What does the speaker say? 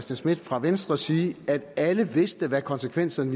schmidt fra venstre sige at alle vidste hvad konsekvenserne